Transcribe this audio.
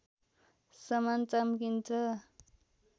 समान चम्किन्छ